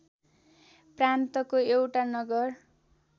प्रान्तको एउटा नगर